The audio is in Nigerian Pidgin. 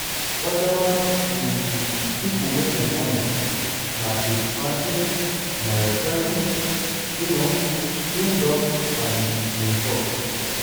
oda um pipo wey dem honour na kirk franklin mariah carey um snoop dogg and jamie foxx.